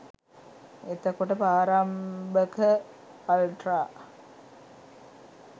එතකොට ප්‍රාරම්භක අල්ට්‍රා